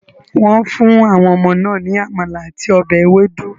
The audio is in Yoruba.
Wọ́n fún àwọn ọmọ náà ní amala àti ọbẹ̀ ewedu.